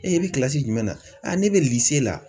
Ee i bɛ jumɛn na ne bɛ la.